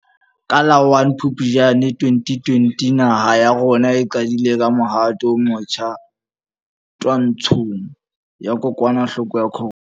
Ka la 01 Phuptjane 2020 naha ya rona e qadile ka mohato o motjha twantshong ya kokwanahloko ya corona.